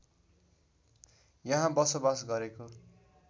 यहाँ बसोबास गरेको